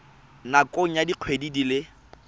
nakong ya dikgwedi di le